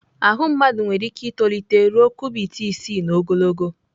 Ahụ mmadụ nwere ike itolite ruo kubit isii n'ogologo.